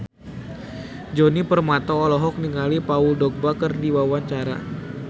Djoni Permato olohok ningali Paul Dogba keur diwawancara